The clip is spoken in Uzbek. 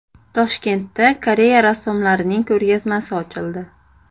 Toshkentda Koreya rassomlarining ko‘rgazmasi ochildi .